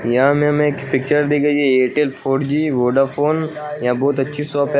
यहां में हमें एक पिक्चर दि गई है एयरटेल फोर जी वोडाफोन यहां बहुत अच्छी शॉप है।